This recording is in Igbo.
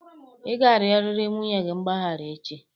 Ị ga-arịọrịrị nwunye gị mgbaghara echi!